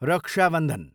रक्षा बन्धन